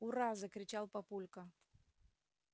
ура закричал папулька